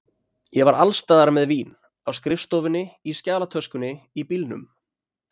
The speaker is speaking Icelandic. Ég var alls staðar með vín, á skrifstofunni, í skjalatöskunni, í bílnum.